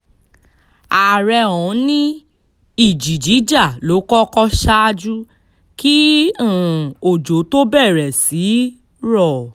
àárẹ̀ ọ̀hún ni ìjì jíjà ló kọ́kọ́ ṣáájú kí um òjò tó bẹ̀rẹ̀ sí í rọ̀